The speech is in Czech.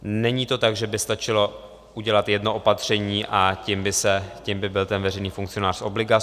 Není to tak, že by stačilo udělat jedno opatření, a tím by byl ten veřejný funkcionář z obliga.